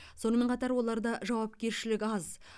сонымен қатар оларда жауапкершілік аз